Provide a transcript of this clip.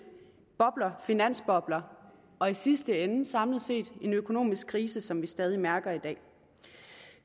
bobler finansbobler og i sidste ende og samlet set en økonomisk krise som vi stadig mærker i dag